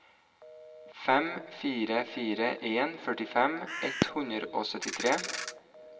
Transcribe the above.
fem fire fire en førtifem ett hundre og syttitre